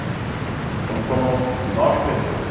Então somos nove pessoas.